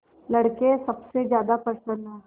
लड़के सबसे ज्यादा प्रसन्न हैं